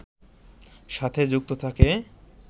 সাথে যুক্ত থাকে